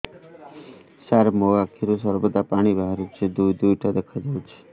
ସାର ମୋ ଆଖିରୁ ସର୍ବଦା ପାଣି ବାହାରୁଛି ଦୁଇଟା ଦୁଇଟା ଦେଖାଯାଉଛି